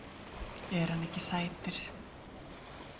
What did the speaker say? Er hann ekki sætur?